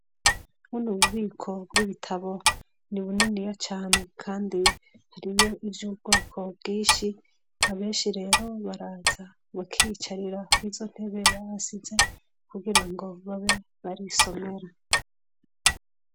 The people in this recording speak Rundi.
Buno ni ububiko bw'ibitabo ni buniniya cane kandi haribyo uby’ubwoko bwishi abenshi rero baraza bakicarira wizo ntebera bahasize kugira ngo babe barisomera.